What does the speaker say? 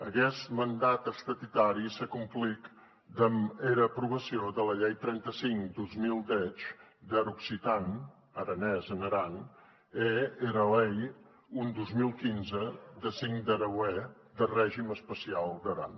aguest mandat estatutari s’a acomplit damb era aprobacion dera lei trenta cinc dos mil deu der occitan aranés en aran e era lei un dos mil quinze de cinc de hereuèr de regim especiau d’aran